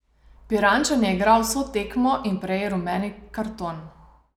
Pirančan je igral vso tekmo in prejel rumeni karton.